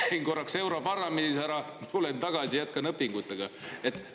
Et ma käin korraks europarlamendis ära, tulen tagasi ja jätkan õpinguid?